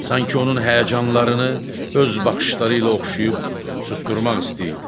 Sanki onun həyəcanlarını öz baxışları ilə oxşayıb susturmaq istəyirdi.